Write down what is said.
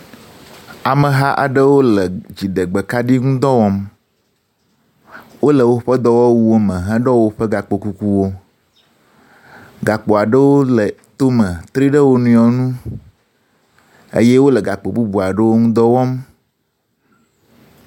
Ameha aɖewo le dziɖegbekaɖi ŋu dɔ wɔm. Wole woƒe dɔwɔwuwo me heɖɔ woƒe gakpo kukuwo, gakpo aɖewo le tome tri ɖe wo nɔewo nu eye wole gakpo bubu aɖewo ŋu dɔ wɔm.